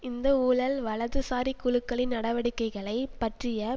இந்த ஊழல் வலதுசாரிக் குழுக்களின் நடவடிக்கைகளை பற்றிய